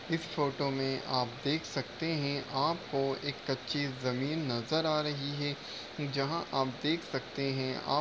इस फोटो मे आप देख सकते हैं। आपको एक कच्ची जमीन नजर आ रही है। जहां आप देख सकते है। आप --